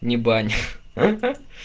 не бань